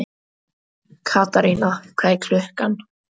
Katarína, hvað er klukkan?